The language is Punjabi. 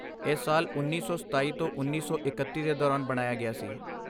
ਇਹ ਸਾਲ ਉੱਨੀ ਸੌ ਸਤਾਈ ਤੋਂ ਉੱਨੀ ਸੌ ਇਕੱਤੀ ਦੇ ਦੌਰਾਨ ਬਣਾਇਆ ਗਿਆ ਸੀ